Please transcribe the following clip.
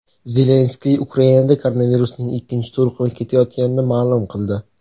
Zelenskiy Ukrainada koronavirusning ikkinchi to‘lqini ketayotganini ma’lum qildi.